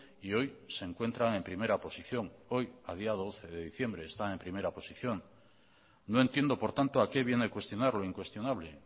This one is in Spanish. y hoy se encuentran en primera posición hoy a día doce de diciembre están en primera posición no entiendo por tanto a qué viene cuestionar lo incuestionable